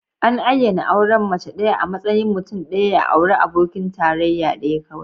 An ayyana auren mace ɗaya a matsayin mutum ɗaya ya auri abokin tarayya ɗaya kawai.